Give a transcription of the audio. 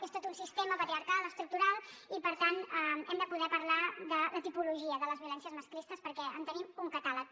és tot un sistema patriarcal estructural i per tant hem de poder parlar de la tipologia de les violències masclistes perquè en tenim un catàleg